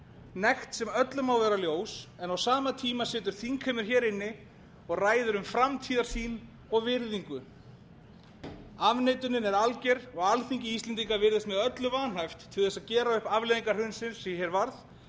nekt sem öllum má vera ljós en á sama tíma situr þingheimur hér inni og ræðir um framtíðarsýn og virðingu afneitunin er alger og alþingi íslendinga virðist með öllu vanhæft til þess að gera upp afleiðingar hrunsins sem hér varð